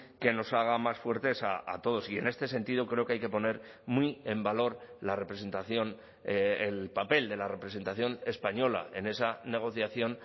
que nos haga más fuertes a todos y en este sentido creo que hay que poner muy en valor la representación el papel de la representación española en esa negociación